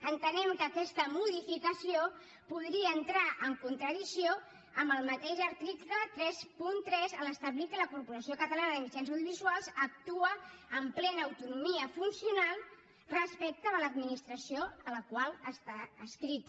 entenem que aquesta modificació podria entrar en contradicció amb el mateix article trenta tres a l’establir que la corporació catalana de mitjans audiovisuals actua amb plena autonomia funcional respecte de l’administració a la qual està adscrita